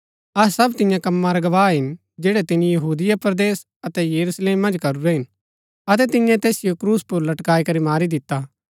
अहै सब तियां कमां रै गवाह हिन जैड़ै तिनी यहूदिया परदेस अतै यरूशलेम मन्ज करूरै हिन अतै तिन्ये तैसिओ क्रूस पुर लटकाई करी मारी दिता